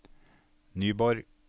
Nyborg